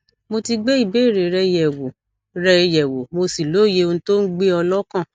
mo ti gbé ìbéèrè rẹ yẹwò rẹ yẹwò mo sì lóye ohun tó ń gbé ọ lọkàn